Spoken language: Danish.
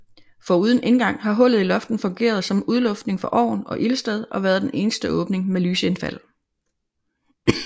Foruden indgang har hullet i loftet fungeret som udluftning for ovn og ildsted og været den eneste åbning med lysindfald